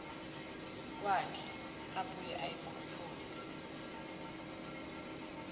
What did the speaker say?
kwakhe abuye ayikhuphule